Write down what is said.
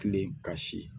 Kilen ka si